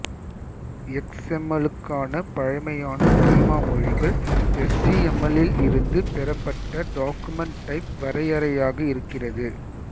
எக்ஸ்எம்எல்லுக்கான பழமையான ஸ்கீமா மொழிகள் எஸ்ஜிஎம்எல்லில் இருந்து பெறப்பட்ட டாகுமெண்ட் டைப் வரையறையாக இருக்கிறது